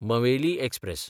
Maveli express